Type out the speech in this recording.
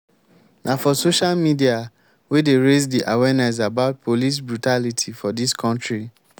na for social media wey dey raise di awareness about police brutality for dis country.